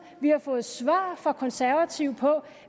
har fået svar fra konservative på